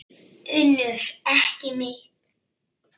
UNNUR: Ekki mitt.